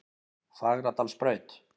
Fagradalsbraut